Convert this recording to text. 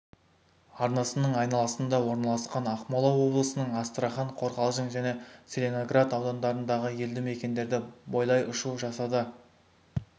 арнасының айналысында орналасқан ақмола облысының астрахан қорғалжың және целиноград аудандарындағы елді мекендерді бойлай ұшу жасады